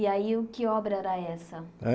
E aí, o que obra era essa? Hein